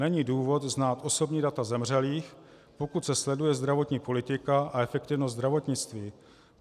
Není důvod znát osobní data zemřelých, pokud se sleduje zdravotní politika a efektivnost zdravotnictví.